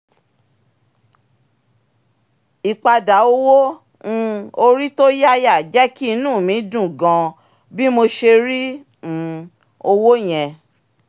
ìpadà owó um orí tó yáyà jẹ́ kí inú mi dùn gan-an bí mo ṣe rí um owó yẹn